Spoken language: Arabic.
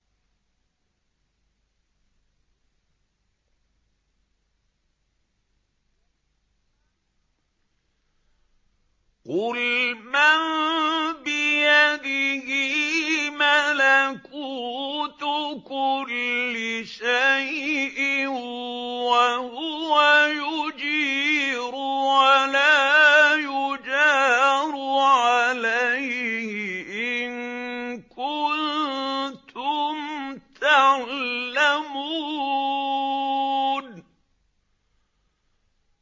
قُلْ مَن بِيَدِهِ مَلَكُوتُ كُلِّ شَيْءٍ وَهُوَ يُجِيرُ وَلَا يُجَارُ عَلَيْهِ إِن كُنتُمْ تَعْلَمُونَ